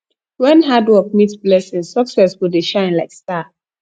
wen hard work meet blessing success go dey shine like star